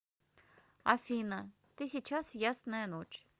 афина ты сейчас ясная ночь